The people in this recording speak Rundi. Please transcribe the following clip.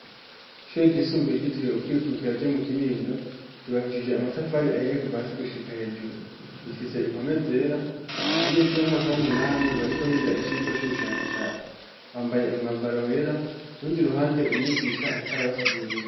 Ishure ryisumbuye giteriwe ukwikubikira ryo mu Kinindo ryubakishije amatafari ahiye kuva hasi gushika hejuru. Rifise impome zera abanyeshuri bomumwaka b'umunani bariko biga icirwa c'ubushakashatsi bambaye umwambaro wera rundi ruhande umigisha ariko arabasigurira.